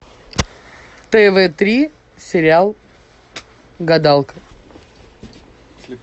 тв три сериал гадалка